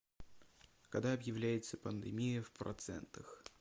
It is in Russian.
когда объявляется пандемия в процентах